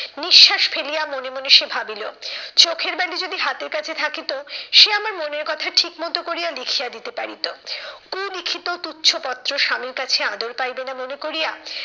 নিঃশ্বাস ফেলিয়া মনে মনে সে ভাবিলো, চোখের বালি যদি হাতের কাছে থাকিতো, সে আমার মনের কথা ঠিক মতো করিয়া লিখিয়া দিতে পারিত। কুলিখিত তুচ্ছ পত্র স্বামীর কাছে আদর পাইবে না মনে করিয়া,